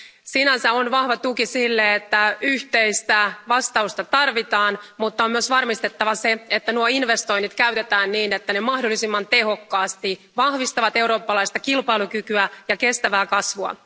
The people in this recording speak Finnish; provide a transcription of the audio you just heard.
Sinänsä on vahva tuki sille, että yhteistä vastausta tarvitaan, mutta on myös varmistettava se, että nuo investoinnit käytetään niin, että ne mahdollisimman tehokkaasti vahvistavat eurooppalaista kilpailukykyä ja kestävää kasvua.